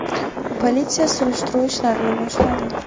Politsiya surishtiruv ishlarini boshladi.